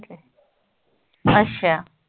ਅਸ਼ਾ